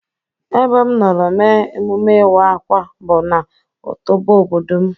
E be m nọrọ mee emume iwa-akwa bu na otọbọ obodo m.